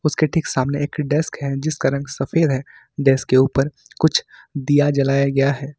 उसके ठीक सामने एक डेस्क है जिसका रंग सफेद है डेस्क के ऊपर कुछ दिया जलाया गया है।